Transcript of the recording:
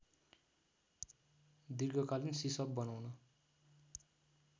दीर्घकालिन सिसप बनाउन